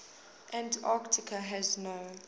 antarctica has no